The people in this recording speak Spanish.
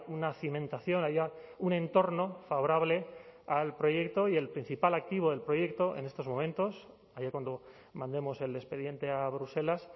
una cimentación haya un entorno favorable al proyecto y el principal activo del proyecto en estos momentos allá cuando mandemos el expediente a bruselas